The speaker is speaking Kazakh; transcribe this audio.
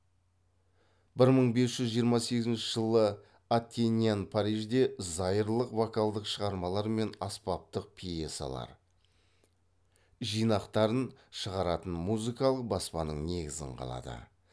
бір мың бес жүз жиырма сегізінші жылы аттеньян парижде зайырлық вокалдық шығармалар мен аспаптық пьесалар жинақтарын шығаратын музыкалық баспаның негізін қалады